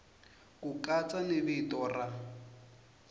ku katsa ni vito ra